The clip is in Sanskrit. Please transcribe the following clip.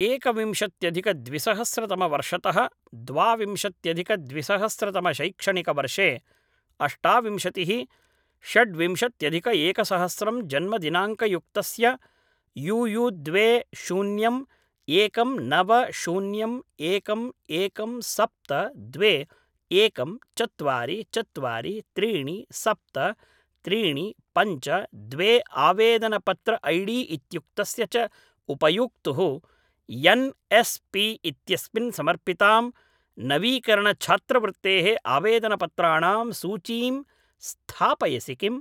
एकविंशत्यधिकद्विसहस्रतमवर्षतः द्वाविंशत्यधिकद्विसहस्रतमशैक्षणिकवर्षे अष्टाविंशतिः षड् विंशत्यधिकएकसहस्रं जन्मदिनाङ्कयुक्तस्य युयु द्वे शून्यं एकं नव शून्यम् एकम् एकम् सप्त द्वे एकं चत्वारि चत्वारि त्रीणि सप्त त्रीणि पञ्च द्वे आवेदनपत्र ऐडी इत्युक्तस्य च उपयोक्तुः एन् एस् पी इत्यस्मिन् समर्पितां नवीकरणछात्रवृत्तेः आवेदनपत्राणां सूचीं स्थापयसि किम्